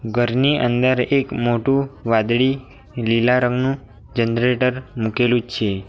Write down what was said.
ઘરની અંદર એક મોટું વાદળી લીલા રંગનું જનરેટર મૂકેલું છે.